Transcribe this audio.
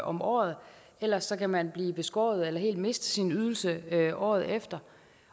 om året ellers kan man blive beskåret eller helt miste sin ydelse året efter